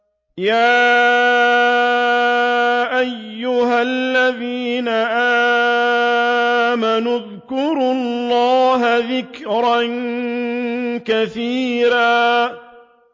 يَا أَيُّهَا الَّذِينَ آمَنُوا اذْكُرُوا اللَّهَ ذِكْرًا كَثِيرًا